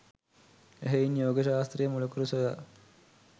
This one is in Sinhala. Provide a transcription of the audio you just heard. එහෙයින් යෝග ශාස්ත්‍රය මුලකුරු සොයා